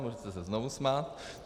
Můžete se znovu smát.